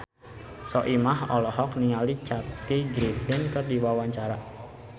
Soimah olohok ningali Kathy Griffin keur diwawancara